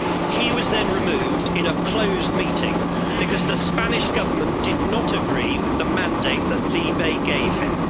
He was then removed in a closed meeting because the Spanish Government did not agree with the mandate that LIBE gave him.